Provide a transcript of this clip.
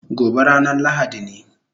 Gobe ranan lahadi ne